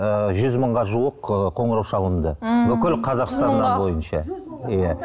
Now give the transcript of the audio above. ы жүз мыңға жуық ы қоңырау шалынды ммм бүкіл қазақстаннан бойынша иә